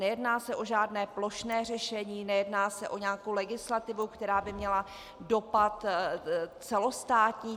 Nejedná se o žádné plošné řešení, nejedná se o nějakou legislativu, která by měla dopad celostátní.